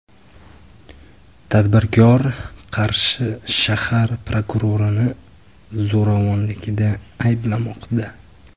Tadbirkor Qarshi shahar prokurorini zo‘ravonlikda ayblamoqda.